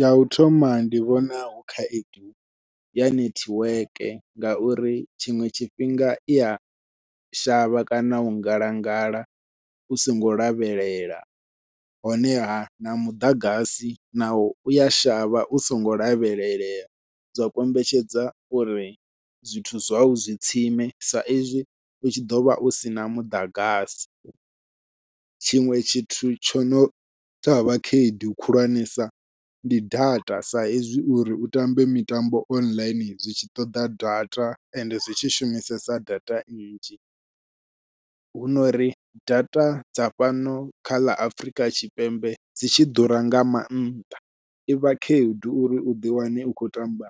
Yau thoma ndi vhona hu khaedu ya nethiweke ngauri tshiṅwe tshifhinga ia shavha kana u ngalangala u songo lavhelela, honeha na muḓagasi nawo uya shavha u songo lavhelelea. Zwa kombetshedza uri zwithu zwau zwi tsime sa izwi u tshi ḓovha usina muḓagasi. Tshiṅwe tshithu tsho no tsha vha khaedu khulwanesa ndi data sa ezwi uri u tambe mitambo online zwi tshi ṱoḓa data ende zwi tshi shumisesa data nnzhi, hu nori data dza fhano kha ḽa Afrika Tshipembe dzi tshi ḓura nga maanḓa i vha khaedu uri u ḓi wane u khou tamba